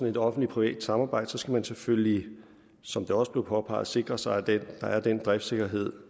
et offentligt privat samarbejde skal man selvfølgelig som det også blev påpeget sikre sig at der er den driftssikkerhed